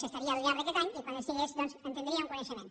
que estaria al llarg d’aquest any i quan estigués doncs en tindríem coneixement